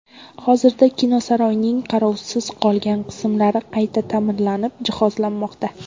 Hozirda kinosaroyning qarovsiz qolgan qismlari qayta ta’mirlanib, jihozlanmoqda.